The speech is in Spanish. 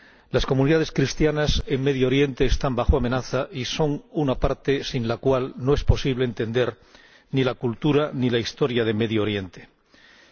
Las comunidades cristianas en Oriente Próximo están bajo amenaza y son una parte sin la cual no es posible entender ni la cultura ni la historia de Oriente Próximo.